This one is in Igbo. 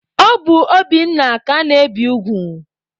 Ọ bụ Obinna ka ana-ebi ugwu.